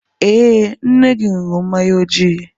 Ee, nne gị ṅụrụ mmanya ojii.